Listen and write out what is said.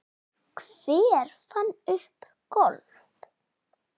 Hver fann upp golf?